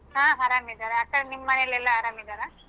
ಹಾ ಅರಾಮ್ ಇದಾರೆ ಆಕಡೆ ನಿಮ್ ಮನೆಲೆಲ್ಲ ಅರಾಮ್ ಇದಾರಾ?